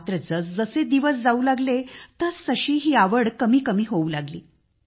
मात्र जसजसे दिवस जाऊ लागले तसतशी ही आवड कमी होऊ लागली